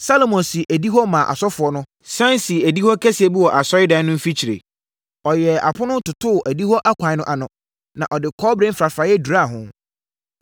Salomo sii adihɔ maa asɔfoɔ no, sane sii adihɔ kɛseɛ bi wɔ Asɔredan no mfikyire. Ɔyɛɛ apono totoo adihɔ akwan no ano, na ɔde kɔbere mfrafraeɛ duraa ho.